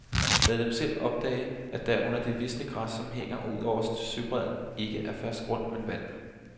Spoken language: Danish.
Lad dem selv opdage, at der under det visne græs, som hænger ud over søbredden, ikke er fast grund, men vand.